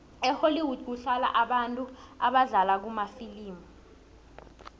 ehollwood kuhlala abantu abadlala kumafilimu